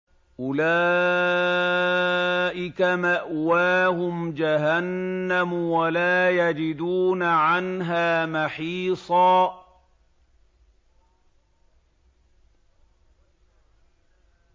أُولَٰئِكَ مَأْوَاهُمْ جَهَنَّمُ وَلَا يَجِدُونَ عَنْهَا مَحِيصًا